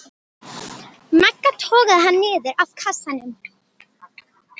Magga togaði hana niður af kassanum.